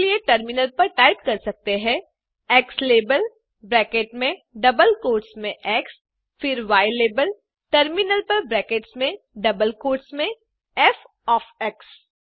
इसके लिए टर्मिनल में टाइप कर सकते हैं ज़्लाबेल ब्रैकेट्स में डबल कोट्स में एक्स फिर यलाबेल टर्मिनल पर ब्रैकेट्स में डबल कोट्स में फ़ ओएफ एक्स